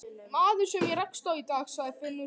Maður sem ég rakst á í dag, sagði Finnur.